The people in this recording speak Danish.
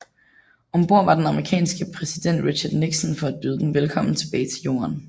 Om bord var den amerikanske præsident Richard Nixon for at byde dem velkommen tilbage til Jorden